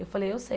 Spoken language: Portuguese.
Eu falei, eu sei.